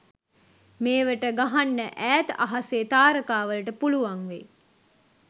මේවට ගහන්න ඈත අහසෙ තාරකා වලට පුලුවන් වෙයි